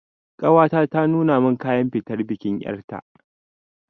Ƙawata ta nuna min kayan fitar bikin ƴarta